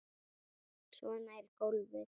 Svona er golfið.